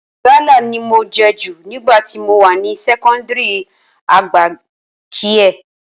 Gálà ni mo jẹ jù nígbà tí mo wà ní sẹ́kọ́ńdìrì àgbà kiie